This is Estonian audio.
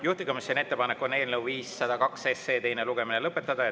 Juhtivkomisjoni ettepanek on eelnõu 502 teine lugemine lõpetada.